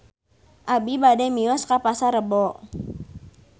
Abi bade mios ka Pasar Rebo